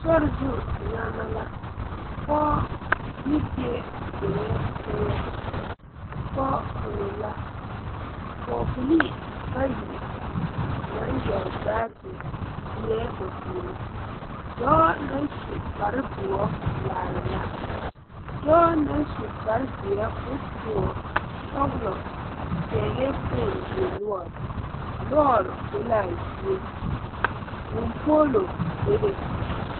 Sorizu nyagma la pɔɔ ne bie zeŋɛɛ teŋɛ pɔg kono la pɔɔbilii bayi naŋ yɛre baagyi lieɛɛ ba puore dɔɔ naŋ su kparedoɔ laara la dɔɔ naŋ su kparezeɛ ko toɔ sɔglɔ pɛglɛɛ fone yuo noɔre lɔɔre be laa zie vūū poolo bebe.